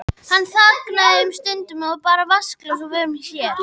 Hann þagnaði um stund og bar vatnsglas að vörum sér.